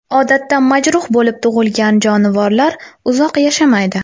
Odatda majruh bo‘lib tug‘ilgan jonivorlar uzoq yashamaydi.